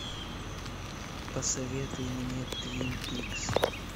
посоветуй мне твин пикс